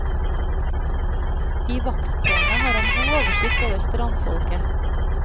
I vakttårnet har han god oversikt over strandfolket.